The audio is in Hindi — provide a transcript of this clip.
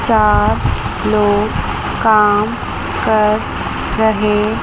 चार लोग काम कर रहे--